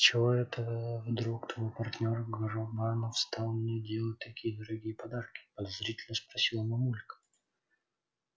с чего это вдруг твой партнёр гробанов стал мне делать такие дорогие подарки подозрительно спросила мамулька